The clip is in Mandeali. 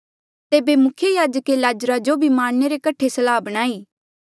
तेबे मुख्य याजके लाज़रा जो भी मारणे रे कठे सलाह बणाई